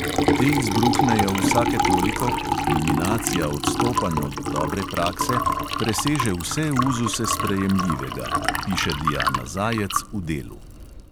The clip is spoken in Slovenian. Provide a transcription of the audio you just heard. Te izbruhnejo vsake toliko, ko kulminacija odstopanj od dobre prakse preseže vse uzuse sprejemljivega, piše diana zajec v delu.